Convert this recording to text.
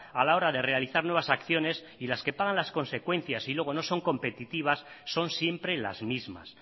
a la hora de realizar nuevas acciones y los que pagan las consecuencias y luego no son competitivas son siempre las mismas